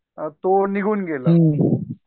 अ तो निघून गेला